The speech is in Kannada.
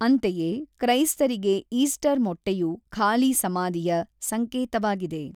ಅಂತೆಯೇ, ಕ್ರೈಸ್ತರಿಗೆ ಈಸ್ಟರ್ ಮೊಟ್ಟೆಯು ಖಾಲಿ ಸಮಾಧಿಯ ಸಂಕೇತವಾಗಿದೆ.